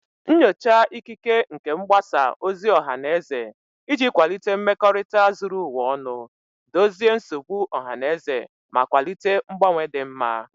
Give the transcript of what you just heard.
Nyochaa ikike nke mgbasa ozi ọha na eze iji kwalite mmekorita zuru ụwa ọnụ, dozie nsogbu ọha na eze, ma kwalite mgbanwe dị mma.